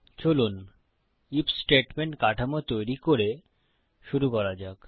চলুন IF statement কাঠামো তৈরি করে শুরু করা যাক